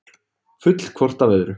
Full hvort af öðru.